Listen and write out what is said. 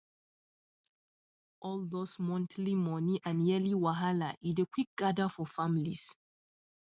all those monthly money and yearly wahala e dey quick gather for families